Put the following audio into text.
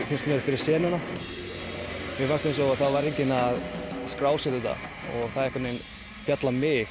finnst mér fyrir senuna mér fannst eins og það væri enginn að skrásetja þetta og það féll á mig